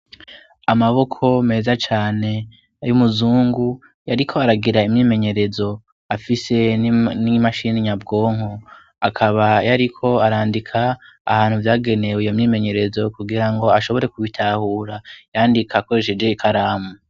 Amaboko meza cane y'umuzungu yariko aragira imyimenyerezo afise n'imashini nyabwonko akaba yariko arandika ahantu vyagenewe iyo myimenyerezo kugira ngo ashobore kubitahura yandika akoresheje ikaramu.